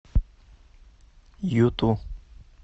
юту